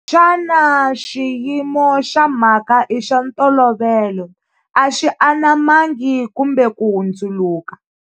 Xana xiyimo xa mhaka i xa ntolovelo, a xi anamangi kumbe ku hundzuluka?